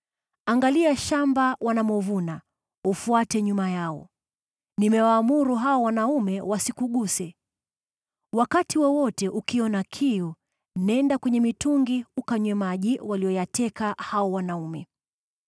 Angalia shamba wanaume wanamovuna, ufuate nyuma yao. Nimewaamuru wanaume hawa wasikuguse. Wakati wowote ukiona kiu, nenda kwenye mitungi ukanywe maji waliyoyateka wanaume hawa.”